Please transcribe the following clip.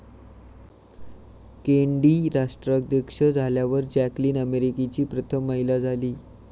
Kennedy राष्ट्राध्यक्ष झाल्यावर Jacqueline अमेरिकेची प्रथम महिला झाली.